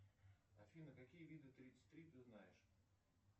афина какие виды тридцать три ты знаешь